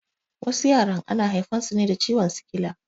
Wasu yaran ana haifan su ne da ciwon sikila